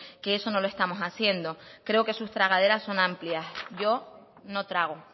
que eso no lo estamos haciendo creo que sus tragaderas son amplias yo no trago